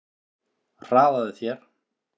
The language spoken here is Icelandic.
Hraðaðu þér!